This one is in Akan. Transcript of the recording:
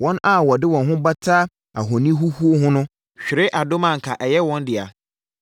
“Wɔn a wɔde wɔn ho bata ahoni huhuo ho no hwere adom a anka ɛyɛ wɔn dea.